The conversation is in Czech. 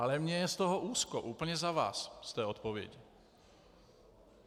Ale mně je z toho úzko úplně za vás, z té odpovědi.